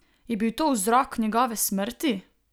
Je bil to vzrok njegove smrti?